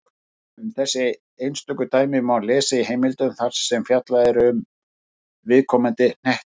Um þessi einstöku dæmi má lesa í heimildum þar sem fjallað er um viðkomandi hnetti.